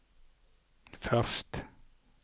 første